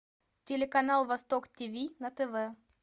телеканал восток тв на тв